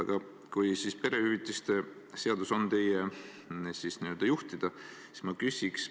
Aga kui perehüvitiste seadus on teie n-ö juhtida, siis ma küsin sellist asja.